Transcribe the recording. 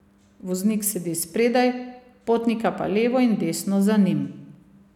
Voznik sedi spredaj, potnika pa levo in desno za njim.